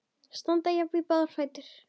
Standa jafnt í báða fætur.